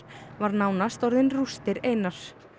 var nánast orðin rústir einar